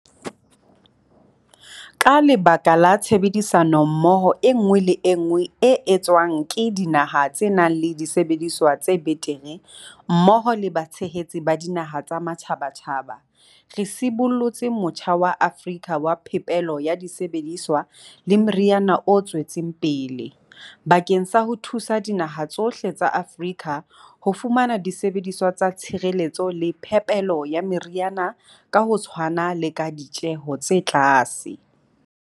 Ka lebaka la tshebedisano mmoho enngwe le enngwe e etswang le dinaha tse nang le disebediswa tse betere mmoho le batshehetsi ba dinaha tsa matjhabatjhaba, re sibollotse Motjha wa Afrika wa Phepelo ya Disebediswa le Meriana o tswetseng pele, bakeng sa ho thusa dinaha tsohle tsa Afrika ho fumana disebediswa tsa tshireletso le phepelo ya meriana ka ho tshwana le ka ditjeho tse tlase.